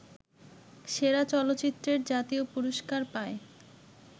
সেরা চলচ্চিত্রের জাতীয় পুরস্কার পায়